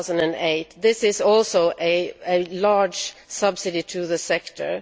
2008 this is also a large subsidiary to the sector.